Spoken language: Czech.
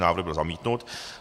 Návrh byl zamítnut.